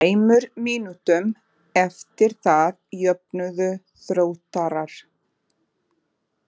Tveimur mínútum eftir það jöfnuðu Þróttarar.